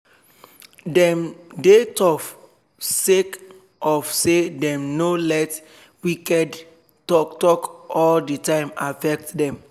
dem dey tough sake of say dem nor let wicked talk talk all d time affect dem